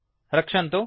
रक्षन्तु